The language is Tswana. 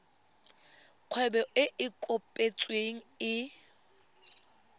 kgwebo e e kopetsweng e